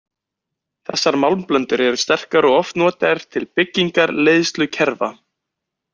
Þessar málmblöndur eru sterkar og eru oft notaðar til byggingar leiðslukerfa.